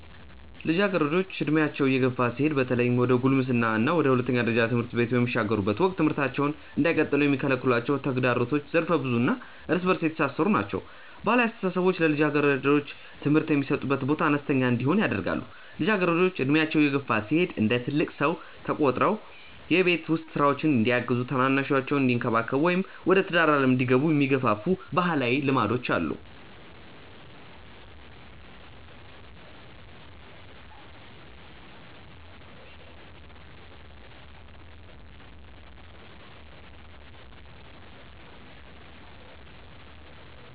ልጃገረዶች ዕድሜያቸው እየገፋ ሲሄድ በተለይም ወደ ጉልምስና እና ወደ ሁለተኛ ደረጃ ትምህርት በሚሸጋገሩበት ወቅት ትምህርታቸውን እንዳይቀጥሉ የሚከለክሏቸው ተግዳሮቶች ዘርፈ-ብዙ እና እርስ በእርስ የተሳሰሩ ናቸው። ባህላዊ አስተሳሰቦች ለልጃገረዶች ትምህርት የሚሰጡት ቦታ አነስተኛ እንዲሆን ያደርጋሉ። ልጃገረዶች ዕድሜያቸው እየገፋ ሲሄድ እንደ ትልቅ ሰው ተቆጥረው የቤት ውስጥ ሥራዎችን እንዲያግዙ፣ ታናናሾቻቸውን እንዲንከባከቡ ወይም ወደ ትዳር ዓለም እንዲገቡ የሚገፋፉ ባህላዊ ልማዶች አሉ።